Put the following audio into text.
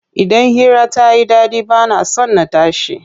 Idan hira tayi ɗaɗi bana son na tashi.